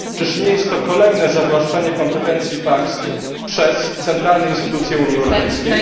Czyż nie jest to kolejne zawłaszczanie kompetencji państw przez centralne instytucje Unii Europejskiej?